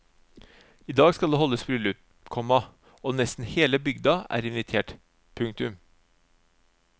I dag skal det holdes bryllup, komma og nesten hele bygda er invitert. punktum